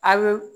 A bɛ